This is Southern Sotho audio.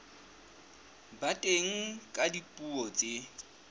ba teng ka dipuo tse